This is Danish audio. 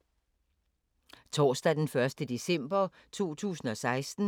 Torsdag d. 1. december 2016